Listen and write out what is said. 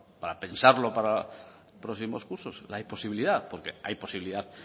para pensarlo para próximos cursos hay posibilidad porque hay posibilidad